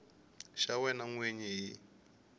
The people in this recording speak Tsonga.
xa wena n wini hi